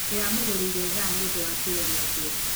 Ndĩramũgũrĩire thaa nĩ ũndũ wa kĩyo gĩake.